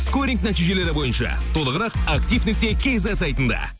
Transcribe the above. скоринг нәтижелері бойынша толығырақ актив нүкте кейзет сайтында